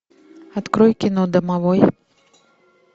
открой кино домовой